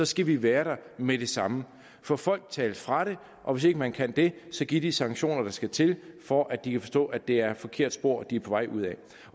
skal vi være der med det samme få folk talt fra det og hvis ikke man kan det give de sanktioner der skal til for at de kan forstå at det er et forkert spor de er på vej ud af